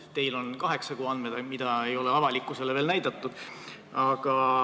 Teil on olemas kaheksa kuu andmed, mida ei ole veel avalikkusele näidatud.